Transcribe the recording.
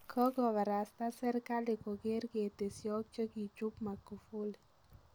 Kogobarasta serkali kogeer ketesyook chekichuup Mugufuli.